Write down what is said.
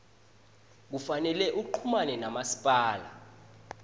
kufanele uchumane namasipala